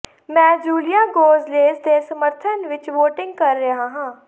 ਮੈਂ Julia Gonzalez ਦੇ ਸਮਰਥਨ ਵਿਚ ਵੋਟਿੰਗ ਕਰ ਰਿਹਾ ਹਾਂ